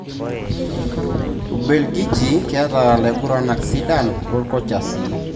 Ubelgiji keta laiguranak sidan wokocha sii.